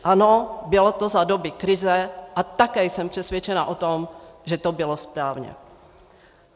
Ano, bylo to za doby krize, a také jsem přesvědčena o tom, že to bylo správně.